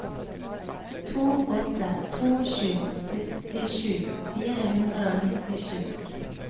to åtte to sju syttisju fire hundre og nittisju